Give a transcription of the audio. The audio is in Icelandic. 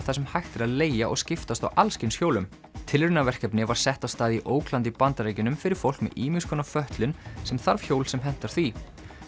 þar sem hægt er að leigja og skiptast á allskyns hjólum tilraunaverkefni var sett af stað í Oakland í Bandaríkjunum fyrir fólk með ýmiss konar fötlun sem þarf hjól sem hentar því